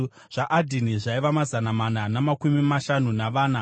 zvaAdhini zvaiva mazana mana namakumi mashanu navana;